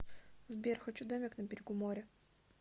сбер хочу домик на берегу моря